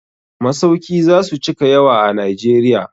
Masauki za su cika yawa a Najeriya.